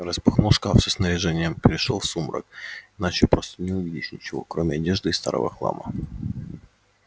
распахнул шкаф со снаряжением перешёл в сумрак иначе просто не увидишь ничего кроме одежды и старого хлама